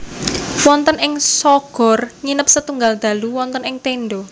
Wonten ing Shogor nginep setunggal dalu wonten ing tenda